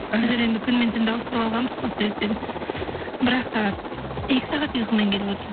іхі біздер енді күн мен түнді ауыстырып алғанбыз сол себептен бір ақ сағат екі сағат ұйқымен келіп отырмын